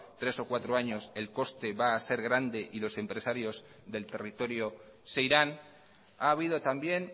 tres o cuatro años el coste va a ser grande y los empresarios del territorio se irán ha habido también